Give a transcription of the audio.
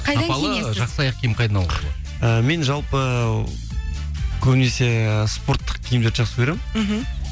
жақсы аяқ киім қайдан алуға болады і мен жалпы көбінесе спорттық киімдерді жақсы көремін мхм